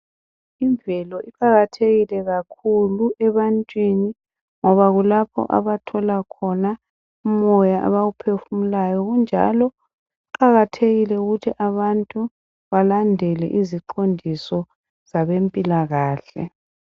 Imvelo iqakathekile kakhulu ebantwini ngoba kulaoho abathola khona umoya abawuohefumulayo kunjalo kuqakathekile ukuthi abantu balandele iziqondiso zabempilakahle.